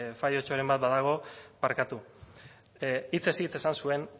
fallotxoren bat badago barkatu hitzez hitz esan zuen